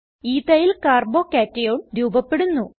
എത്തിൽ Carbo cationch3 ച്ച്2 രൂപപെടുന്നു